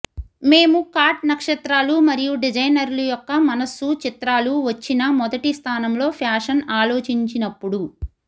మేము కాట్ నక్షత్రాలు మరియు డిజైనర్లు యొక్క మనస్సు చిత్రాలు వచ్చిన మొదటి స్థానంలో ఫ్యాషన్ ఆలోచించినప్పుడు